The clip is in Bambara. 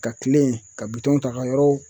Ka kile yen ka bitɔnw ta ka yɔrɔw